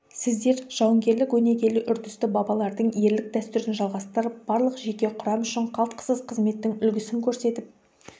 сіздер жауынгерлік өнегелі үрдісті бабалардың ерлік дәстүрін жалғастырып барлық жеке құрам үшін қалтқысыз қызметтің үлгісін көрсетіп